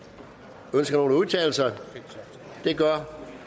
ønsker nogen at udtale sig det gør